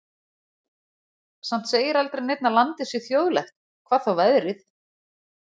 Samt segir aldrei neinn að landið sé þjóðlegt, hvað þá veðrið.